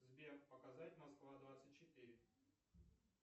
сбер показать москва двадцать четыре